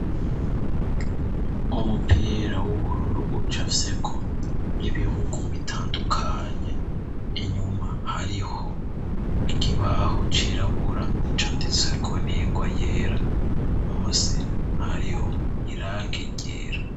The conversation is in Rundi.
Umupira w'ubururu uca fyeko ibihugu bitandukanye inyuma hariho ikibaho cirabura canditsweko n'ingwa yera musi hariho irange igera.